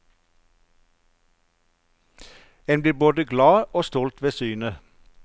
En blir både glad og stolt ved synet.